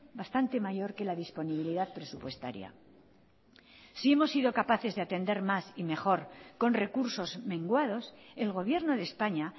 bastante mayor que la disponibilidad presupuestaria si hemos sido capaces de atender más y mejor con recursos menguados el gobierno de españa